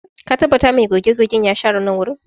Ka tabbata mai goge-gogen ya share nan wurin?